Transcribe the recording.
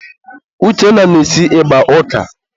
Uchenna na-esi ịgba ọka.